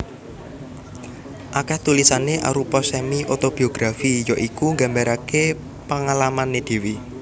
Akèh tulisané arupa semi otobiografi ya iku nggambaraké pengalamané dhéwé